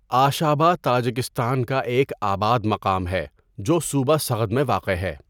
آشابہ Tajikistan کا ایک آباد مقام ہے جو صوبہ سغد میں واقع ہے.